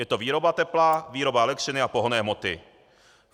Je to výroba tepla, výroba elektřiny a pohonné hmoty.